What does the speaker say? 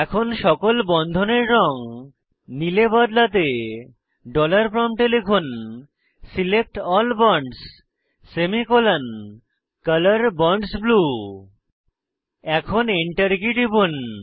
এখন সকল বন্ধনের রঙ নীল এ বদলাতে ডলার প্রম্পটে লিখুন select ALL bonds semicolon colour bonds blue এখন Enter কী টিপুন